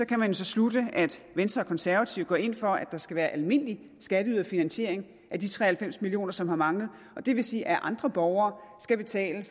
kan man så slutte at venstre og konservative går ind for at der skal være almindelig skatteyderfinansiering af de tre og halvfems million kr som har manglet og det vil sige at andre borgere skal betale